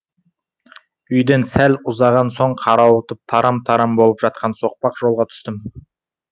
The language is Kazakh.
үйден сәл ұзаған соң қарауытып тарам тарам болып жатқан соқпақ жолға түстім